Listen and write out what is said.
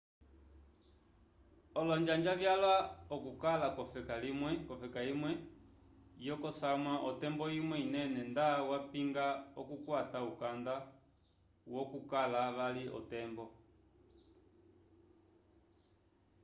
olonjanja vyalwa okukala k'ofeka imwe yokosamwa otembo imwe inene nda yapinga okukwata ukanda wokukala vali otembo